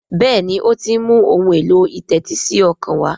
Béèni o tí ń mú Ohun èlò ìtẹ́tísí ọkàn wá.